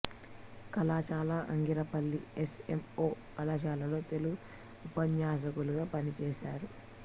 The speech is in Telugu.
కళాశాల ఆగిరిపల్లి ఎస్ ఎం ఓ కళాశాలలలో తెలుగు ఉపన్యాసకులుగా పనిచేశారు